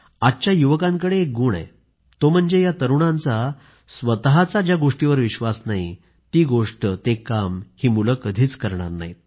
आजच्या युवकांकडे एक गुण आहे तो म्हणजे या तरूणांचा स्वतःचा ज्या गोष्टीवर विश्वास नाही ती गोष्टते काम ही मुलं कधीच करणार नाहीत